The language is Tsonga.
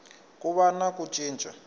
ku va na ku cinca